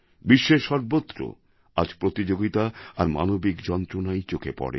বিশ্বের সর্বত্র আজ প্রতিযোগিতা আর মানবিক যন্ত্রণাই চোখে পড়ে